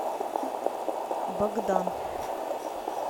богдан